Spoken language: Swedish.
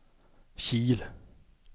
Kil